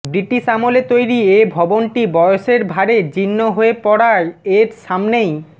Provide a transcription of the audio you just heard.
British আমলে তৈরি এ ভবনটি বয়সের ভারে জীর্ণ হয়ে পড়ায় এর সামনেই